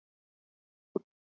Það skýrist samt á morgun.